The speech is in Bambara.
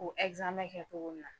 O kɛ cogo mina